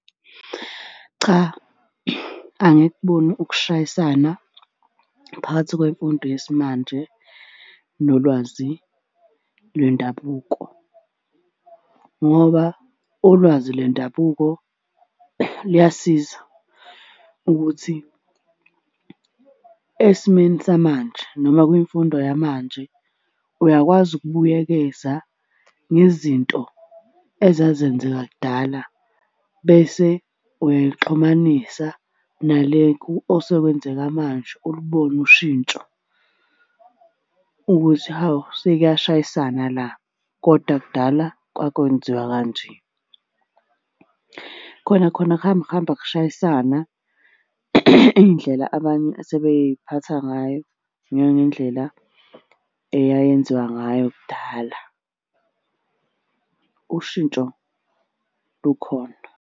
Cha, angikuboni ukushayisana phakathi kwemfundo yesimanje nolwazi lwendabuko, ngoba ulwazi lwendabuko luyasiza ukuthi esimeni samanje noma kwimfundo yamanje uyakwazi ukubuyekeza ngezinto ezazenzeka kudala bese uyayixhumanisa nale osekwenzeka manje ulibone ushintsho ukuthi, hawu sekuyashayisana la, koda kudala kwakwenziwa kanje. Khona khona kuhamba kuhamba kushayisana iy'ndlela abanye asebey'phatha ngayo nangendlela eyayenziwa ngayo kudala. Ushintsho lukhona.